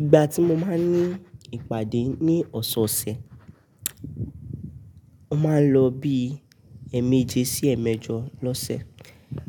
Igba tí mo máa ń ní ìpàdé ní ọ̀sọ̀ọ̀sẹ̀, ó máa ń lọ bí ẹ̀ẹ̀meje sí ẹ̀ẹ̀mẹjọ lọ́sẹ̀